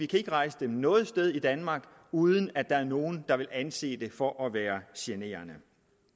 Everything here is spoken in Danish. kan rejse dem noget sted i danmark uden at der er nogen der vil anse det for at være generende